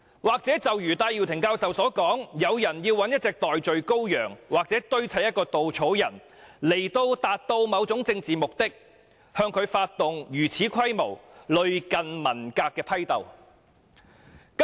或許正如戴耀廷教授所說，有人要找一隻代罪羔羊或堆砌一個稻草人，以達到某種政治目的，於是向他發動如此規模、類近文革的批鬥。